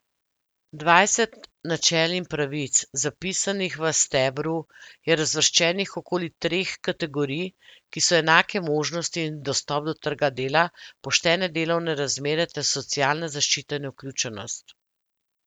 Dvajset načel in pravic, zapisanih v stebru, je razvrščenih okoli treh kategorij, ki so enake možnosti in dostop do trga dela, poštene delovne razmere ter socialna zaščita in vključenost.